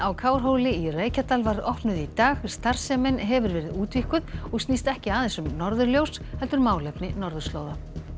Kárhóli í Reykjadal var opnuð í dag starfsemin hefur verið útvíkkuð og snýst ekki aðeins um norðurljós heldur málefni norðurslóða